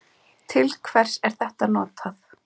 Til hvers er þetta notað?